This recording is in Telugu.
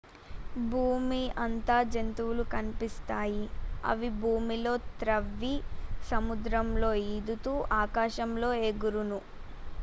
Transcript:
భూమి అంతా జంతువులు కనిపిస్తాయి అవి భూమిలో త్రవ్వి సముద్రాలలో ఈదుతూ ఆకాశంలో ఎగురును